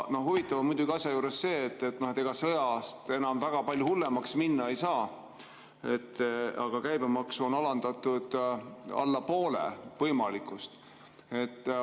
Huvitav on asja juures muidugi see, et ega sõjast enam väga palju hullemaks minna ei saa, aga käibemaksu on alandatud alla poole võimalikust.